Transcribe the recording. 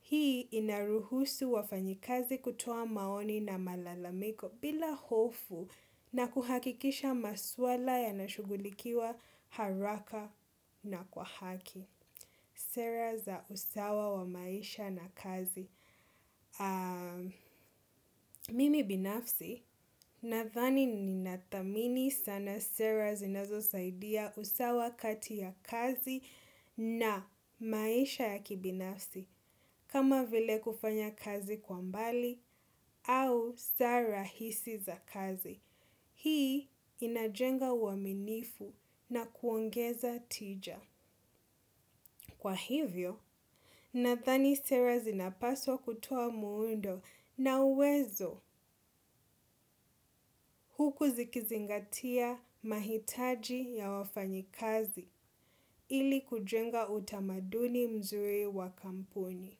Hii inaruhusu wa fanyikazi kutoa maoni na malalamiko bila hofu na kuhakikisha maswala ya nashugulikiwa haraka na kwa haki. Sera za usawa wa maisha na kazi Mimi binafsi nathani ni nathamini sana. Sera zinazo saidia usawa kati ya kazi na maisha ya kibinafsi kama vile kufanya kazi kwambali au sara hisi za kazi hii inajenga uaminifu na kuongeza tija. Kwa hivyo nathani sera zinapaswa kutoa muundo na uwezo huku zikizingatia mahitaji ya wafanyi kazi ili kujenga utamaduni mzuri wa kampuni.